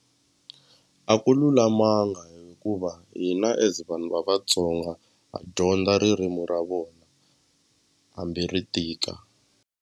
A ku lulamanga hikuva hina as vanhu va Vatsonga ha dyondza ririmi ra vona hambi ri tika.